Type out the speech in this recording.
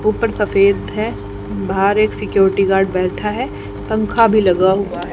ऊपर सफेद है बाहर एक सिक्योरिटी गार्ड बैठा है पंखा भी लगा हुआ है।